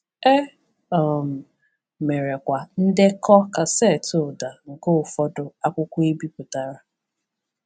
E um mere kwa ndekọ kasetụ ụda nke ụfọdụ akwụkwọ e bipụtara.